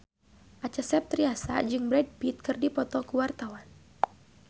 Acha Septriasa jeung Brad Pitt keur dipoto ku wartawan